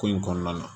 Ko in kɔnɔna na